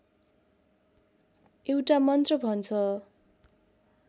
एउटा मन्त्र भन्छ